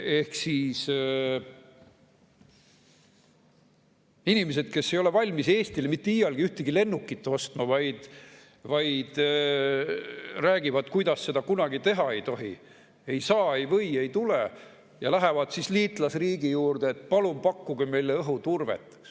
Ehk siis inimesed, kes ei ole valmis Eestile mitte iialgi ühtegi lennukit ostma ja räägivad, kuidas seda kunagi teha ei tohi, ei saa, ei või, ei tule, lähevad siis liitlasriigi juurde: "Palun pakkuge meile õhuturvet.